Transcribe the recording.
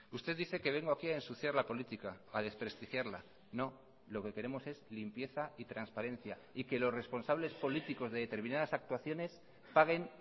usted dice que vengo aquí a ensuciar la política a desprestigiarla no lo que queremos es limpieza y transparencia y que los responsables políticos de determinadas actuaciones paguen